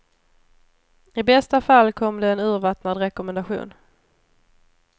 I bästa fall kom det en urvattnad rekommendation.